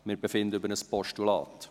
Wir befinden über ein Postulat.